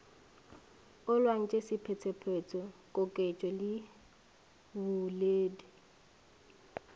olaotše sephetephete koketšo le boledi